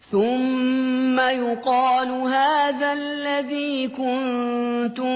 ثُمَّ يُقَالُ هَٰذَا الَّذِي كُنتُم